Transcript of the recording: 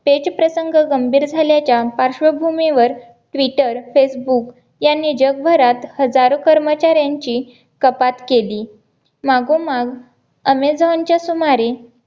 पेच प्रसंग गंभीर झाले च्या पार्श्वभूमीवर ट्विटर फेसबुक यांनी जगभरात हजारो कर्मचाऱ्यांची कपात केली. मागोमाग ऍमेझॉन च्या सुमारे